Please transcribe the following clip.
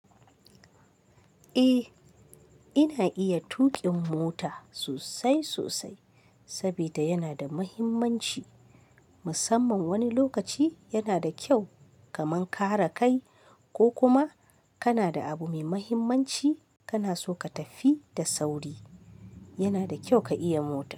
Eh, ina iya tuƙin mota sosai sosai sabida yana da muhimmanci. Musamman wani lokaci yanada kyau kaman kare kai. Ko kuma kana da abu mai muhimmanci kana so ka tafi da sauri, yana da kyau ka iya mota.